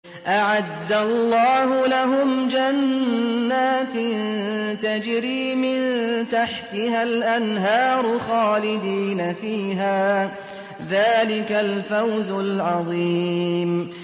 أَعَدَّ اللَّهُ لَهُمْ جَنَّاتٍ تَجْرِي مِن تَحْتِهَا الْأَنْهَارُ خَالِدِينَ فِيهَا ۚ ذَٰلِكَ الْفَوْزُ الْعَظِيمُ